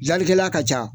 Dilalikɛla ka ca